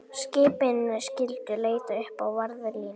Skipin skyldu leita uppi varðlínur